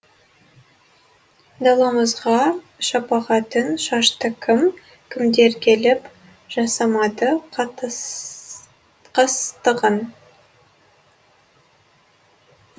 даламызға шапағатын шашты кім кімдер келіп жасамады қастығын